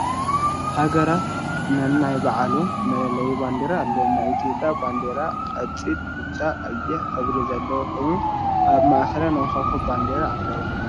ሃገራት ነናይ ባዕሎም መለለዪ ባንዴራ ኣለዎም፡፡ ናይ ኢትዮጵያ ባንዲራ ቆፂል፣ ብጫ፣ ቀይሕ ሕብሪ ዘለዋ ኮይና ኣብ ማእኸላ ናይ ኮኸብ ባንዴራ ኣለዋ፡፡